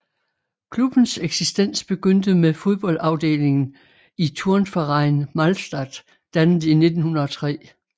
Klubbens eksistens begyndte med fodboldafdelingen i Turnverein Malstatt dannet i 1903